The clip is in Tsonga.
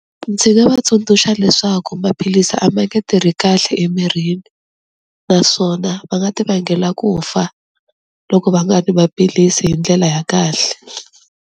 Ndzi nga va tsundzuxa leswaku maphilisi a ma nge tirhi kahle emirini, naswona va nga ti vangela ku fa loko va nga nwi maphilisi hi ndlela ya kahle.